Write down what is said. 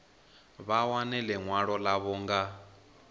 vha wane ḽiṅwalo ḽavho nga